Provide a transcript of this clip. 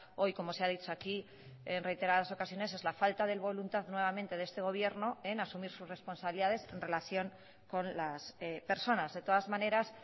hoy como se ha dicho aquí en reiteradas ocasiones es la falta de voluntad nuevamente de este gobierno en asumir sus responsabilidades en relación con las personas de todas maneras